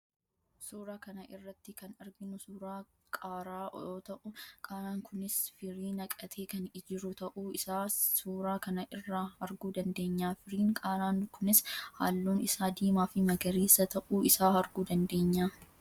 Suuraa kana irratti kan arginu suuraa qaaraa yoo ta'u, qaaraan kunis firii naqatee kan jiru ta'uu isaa suuraa kana irraa arguu dandeenya. Firiin qaaraa kunis halluun isaa diimaa fi magariisa ta'uu isaa arguu dandeenya.